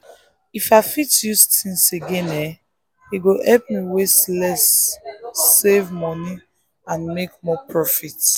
if i fit use things again e go help me waste less save money and make more profit.